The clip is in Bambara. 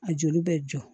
A jeli bɛ jɔ